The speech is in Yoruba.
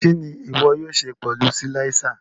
Kini iwọ yóò ṣe pẹlu silàiser?